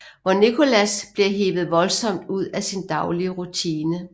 Hvor Nicholas bliver hevet voldsomt ud af sin daglige rutine